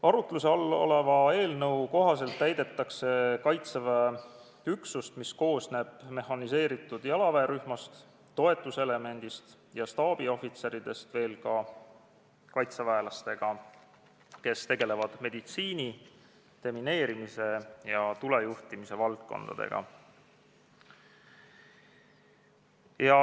Arutluse all oleva eelnõu kohaselt täiendatakse Kaitseväe üksust, mis koosneb mehhaniseeritud jalaväerühmast, toetuselemendist ja staabiohvitseridest, veel kaitseväelastega, kes tegelevad meditsiini, demineerimise ja tulejuhtimise valdkonnaga.